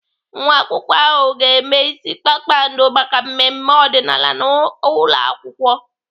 Nwa akwụkwọ ahụ ga-eme ịsị kpakpando maka mmemme ọdịnaala n'ụlọakwụkwọ.